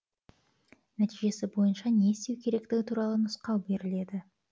нәтижесі бойынша не істеу керектігі туралы нұсқау беріледі